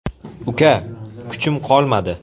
Uka, kuchim qolmadi.